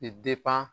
I